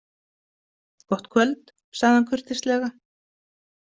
Gott kvöld, sagði hann kurteislega.